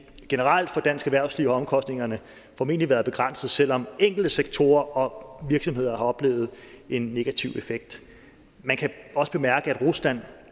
at generelt for dansk erhvervsliv har omkostningerne formentlig være begrænsede selv om enkelte sektorer og virksomheder har oplevet en negativ effekt man kan også bemærke at rusland